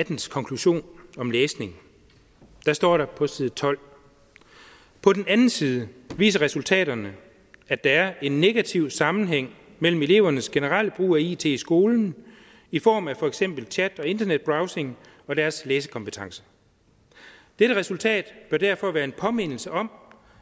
og dens konklusion om læsning står der på side 12 på den anden side viser resultaterne at der er en negativ sammenhæng mellem elevernes generelle brug af it i skolen i form af for eksempel chat og internetbrowsing og deres læsekompetencer dette resultat bør derfor være en påmindelse om